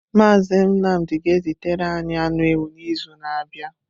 Mazị Nnamdị ga-ezitere anyị anụ ewu n’izu na-abịa.